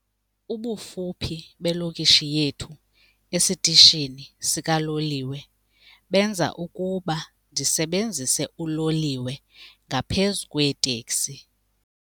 Ubufuphi belokishi yethu esitishini sikaloliwe benza ukuba ndisebenzise uloliwe ngaphezu kweeteksi.